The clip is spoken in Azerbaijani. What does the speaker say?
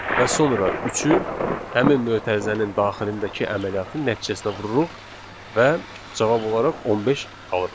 və sonra üçü həmin mötərizənin daxilindəki əməliyyatın nəticəsinə vururuq və cavab olaraq 15 alırıq.